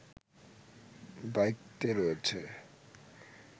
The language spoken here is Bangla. দায়িত্বে রয়েছে